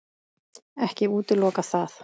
Ekki útiloka það.